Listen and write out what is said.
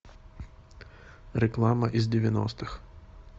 реклама из девяностых